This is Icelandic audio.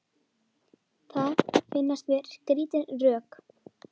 Það finnast mér skrítin rök.